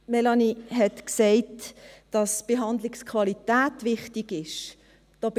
Melanie Beutler sagte, dass die Behandlungsqualität wichtig sei.